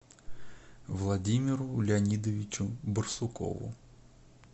владимиру леонидовичу барсукову